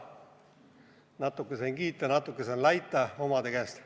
Natuke sain kiita, natuke sain laita omade käest.